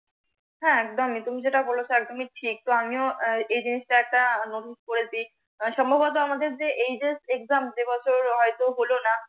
হ্যাঁ একদম উম তুমি যেটা বলেছ একদমি ঠিক, তো আমিও এজিনিসটা একটা করেছি। কারন সম্ভত আমাদের যে এই যে exam এবছর হয়তো হলোনা।